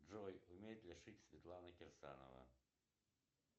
джой умеет ли шить светлана кирсанова